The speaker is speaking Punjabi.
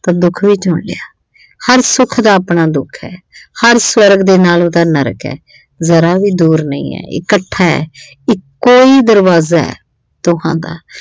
ਤਾਂ ਦੁੱਖ ਵੀ ਚੁਣ ਲਿਆ ਹਰ ਸੁੱਖ ਦਾ ਆਪਣਾ ਦੁੱਖ ਐ ਹਰ ਸਵਰਗ ਦੇ ਨਾਲ ਉਹਦਾ ਨਰਕ ਐ ਜ਼ਰਾ ਵੀ ਦੂਰ ਨਹੀਂ ਐ ਇਹ ਇੱਕਠਾ ਇੱਕੋ ਈ ਦਰਵਾਜ਼ਾ ਦੋਹਾਂ ਦਾ